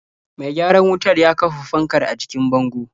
Mai gyaran wutar ya kafa fankar a jikin bango.